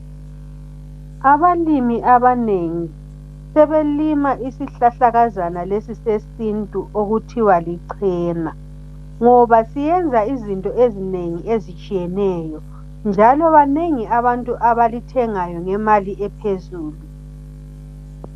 Abalimi abanengi, sebelima isihlahlakazana sesintu okuthiwa licena, ngoba siyenza izinto ezinengi ezitshiyeneyo njalo banengi abantu abalithengayo ngemali ephezulu.